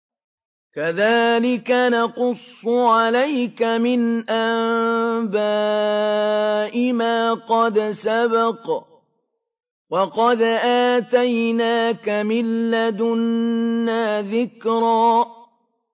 كَذَٰلِكَ نَقُصُّ عَلَيْكَ مِنْ أَنبَاءِ مَا قَدْ سَبَقَ ۚ وَقَدْ آتَيْنَاكَ مِن لَّدُنَّا ذِكْرًا